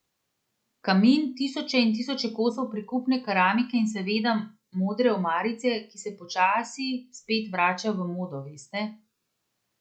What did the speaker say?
Kamin, tisoče in tisoče kosov prikupne keramike in seveda modre omarice, ki se počasi spet vračajo v modo, veste?